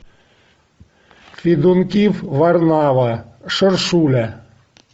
федункив варнава шершуля